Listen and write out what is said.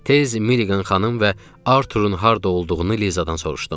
Tez Milliqan xanım və Arturun harda olduğunu Lizadan soruşdum.